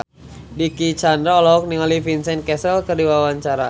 Dicky Chandra olohok ningali Vincent Cassel keur diwawancara